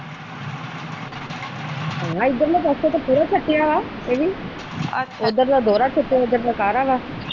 ਇਧਰਲੇ ਪਾਸੇ ਤਾ ਪੂਰਾ ਛੱਤਿਆਵਾ ਇਹ ਵੀ ਅੱਛਾ ਇਹਦਰ ਤਾ ਦੋਹਰਾ ਛੱਤਿਆ ਵਾ .